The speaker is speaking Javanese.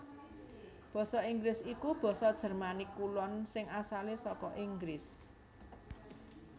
Basa Inggris iku basa Jermanik Kulon sing asalé saka Inggris